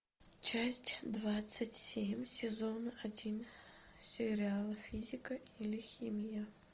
часть двадцать семь сезона один сериала физика или химия